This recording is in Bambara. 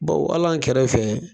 Bawo hal'an kɛrɛ fɛ